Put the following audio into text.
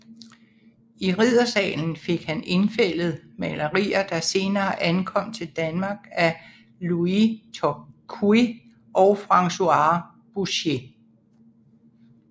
I riddersalen fik han indfældet malerier der senere ankom til Danmark af Louis Tocqué og François Boucher